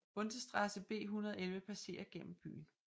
Bundesstraße B 111 passerer gennem byen